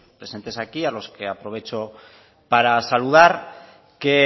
presentes aquí a los que aprovecho para saludar que